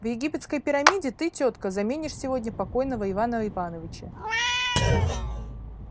в египетской пирамиде ты тётка заменишь сегодня покойного ивана ивановича